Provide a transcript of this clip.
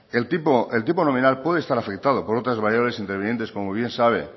el tiempo nominal pueda estar afectado por otras variedades intervinientes como bien sabe en